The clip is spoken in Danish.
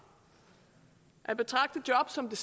at betragte job som det